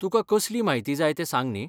तुका कसली म्हायती जाय तें सांग न्ही.